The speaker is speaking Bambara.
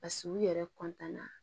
Paseke u yɛrɛ na